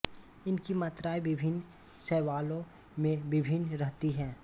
इनकी मात्राएँ विभिन्न शैवालों में विभिन्न रहती हैं